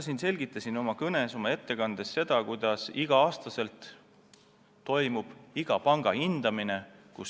Ma selgitasin oma ettekandes seda, kuidas igal aastal toimub iga panga hindamine.